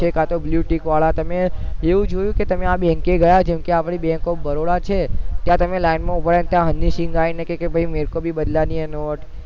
છે કે કાતો બ્લૂ ટિક તમે એવું જોઈ કે આ bank ગયા જેમ કે આપડી bank of baroda છે ત્યાં તમે લાઈન માં ઉભા રહ્યા અને હની સીંગ આવી ને કે મરે કો બી બદલાની હે નોટ